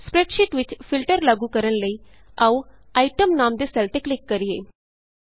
spreadsheet ਵਿਚ filter ਲਾਗੂ ਕਰਨ ਲਈ ਆਉ Itemਨਾਮ ਦੇ ਸੈੱਲ ਤੇ ਕਲਿਕ ਕਰੀਏ